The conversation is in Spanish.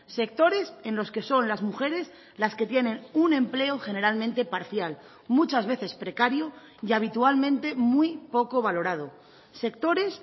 sectores en los que son las mujeres las que tienen un empleo generalmente parcial muchas veces precario y habitualmente muy poco valorado sectores